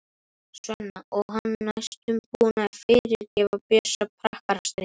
Svenna og hann næstum búinn að fyrirgefa Bjössa prakkarastrikið.